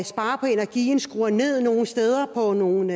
spare på energien og skrue ned nogle steder på nogle